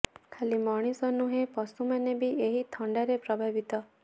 ଖାଲି ମଣିଷ ନୁହେଁ ପଶୁମାନେ ବି ଏହି ଥଣ୍ଡାରେ ପ୍ରଭାବିତ